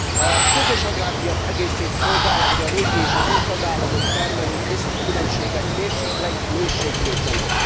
A közös agrárpiac egészét szolgálja, hogy a régi és az új tagállamok termelői közti különbségek mérséklődjenek.